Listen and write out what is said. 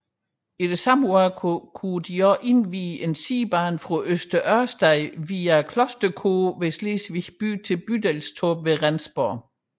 I samme år kunne også indvies en sidebane fra Øster Ørsted via Klosterko ved Slesvig by til Bydelstorp ved Rendsborg